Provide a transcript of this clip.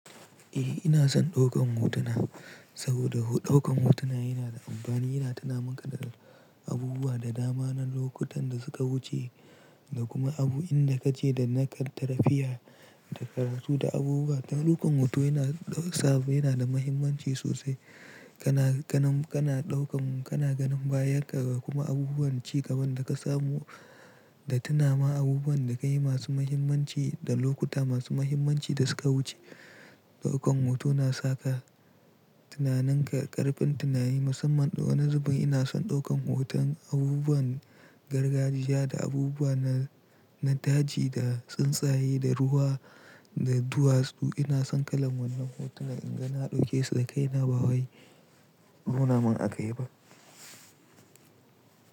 Eh ina son ɗaukan hotuna saboda ɗaukan hotuna yana da amfani, yana tunamaka da abubuwa da dama na lokutan da suka wuce da kuma abu inda kace da naka da lafiya da karatu da abubuwa. To ɗaukan hoto yana sabo, yana da mahimmanci sosai. Kana, kanum, kana ɗaukan, kana ganin bayankan kuma abubuwan ci gaban da ka samu da tuna ma abubuwan da ka yi masu mahimmanci da lokuta masu mahimmanci da suka wuce. Da ɗaukan hoto na saka tunaninka ƙarfin tunani musamman ɗau na zubin ina son ɗaukan hoton abubuwan gargajiya da abubuwa na, na daji da tsuntsaye da ruwa da duwasu. Ina son kalan wannan hotuna in ga na ɗauke su da kai na ba waye nunaman aka yi ba.